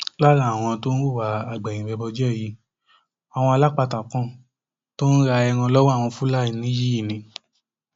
lára àwọn tó ń hùwà agbẹyìnbẹbọjẹ yìí àwọn alápatà kan tó ń ra ẹran lọwọ àwọn fúlàní yìí ni